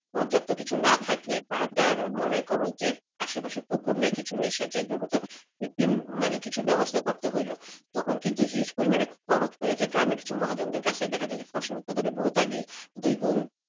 পর্যাপ্ত কিছু না থাকে বা যার মনে কর যে আশেপাশে পুকুর নাই কিছু নাই সেজন্য তার কৃত্রিম কিছু ব্যবস্থা করতে হইল তখন কিন্তু huge পরিমাণে মহাজনদের কাছে দেখা যায় যে ফসল উৎপাদনে বহুত আগিয়ে,